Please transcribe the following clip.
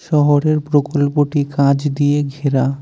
শহরের প্রকল্পটি কাঁচ দিয়ে ঘেরা।